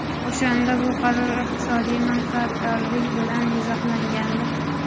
O‘shanda bu qaror iqtisodiy manfaatdorlik bilan izohlangandi.